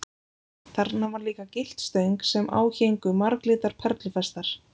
Þarna var líka gyllt stöng sem á héngu marglitar perlufestar.